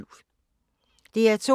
DR2